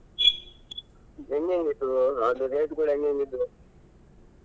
ಹೆಂಗೆಂಗಿತ್ತು ಅಲ್ಲಿ rate ಗಳು ಹೆಂಗೆಂಗಿದ್ವು?